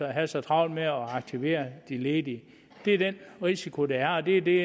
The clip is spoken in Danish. at have så travlt med at aktivere de ledige det er den risiko der er og det er det